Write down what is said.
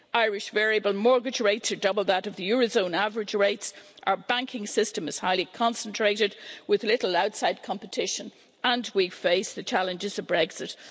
Irish variable mortgage rates are double the eurozone average rates, our banking system is highly concentrated, with little outside competition, and we face the challenges of Brexit.